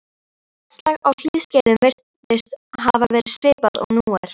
Loftslag á hlýskeiðum virðist hafa verið svipað og nú er.